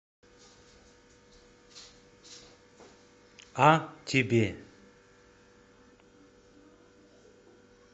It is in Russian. а тебе